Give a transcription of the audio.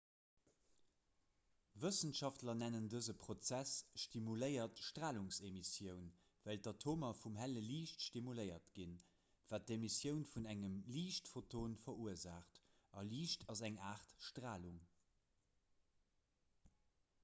wëssenschaftler nennen dëse prozess stimuléiert stralungsemissioun well d'atomer vum helle liicht stimuléiert ginn wat d'emissioun vun engem liichtphoton verursaacht a liicht ass eng aart stralung